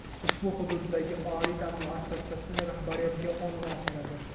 ushbu hududdagi oliy ta’lim muassasasi rahbariyatiga qo‘ng‘iroq qiladi.